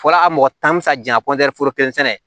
Fɔra a mɔgɔ tan bɛ sa ja foro kelen sɛnɛ